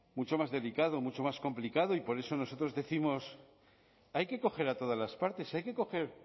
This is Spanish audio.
mucho más delicado mucho más complicado y por eso nosotros décimos hay que coger a todas las partes hay que coger